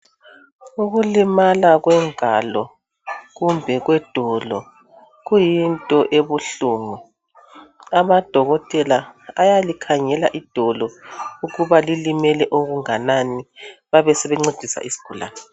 Ukulimala kwengalo kumbe kwedolo kuyinto ebuhlungu. Amadokotela ayalikhangela idolo ukuba lilimele okunganani babesebencedisa isigulane.